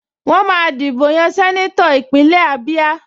Wọ́n máa dìbò yan sẹ́nétọ̀ Ìpínlẹ̀ Ábíá